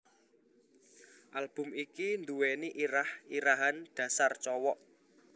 Album iki nduweni irah irahan Dasar Cowok